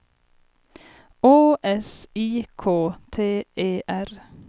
Å S I K T E R